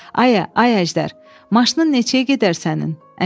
Ayə, ay Əjdər, maşının nə çəyə gedər sənin?